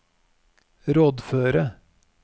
rådføre